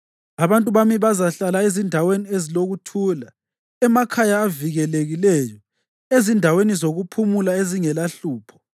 Abantu bami bazahlala ezindaweni ezilokuthula, emakhaya avikelekileyo, ezindaweni zokuphumula ezingelahlupho.